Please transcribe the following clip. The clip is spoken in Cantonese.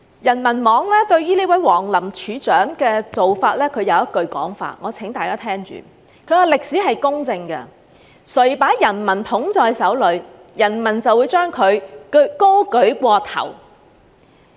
人民網對這位王林處長的做法有一句說法，我請大家聽着：歷史是公正的，誰把人民捧在手裏，人民就把誰舉過頭頂。